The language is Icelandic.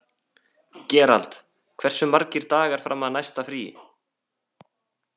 Gerald, hversu margir dagar fram að næsta fríi?